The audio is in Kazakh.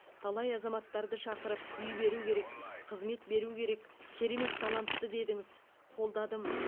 талай азаматтарды шақырып үй беру керек қызмет беру керек керемет талантты дедіңіз қолдадым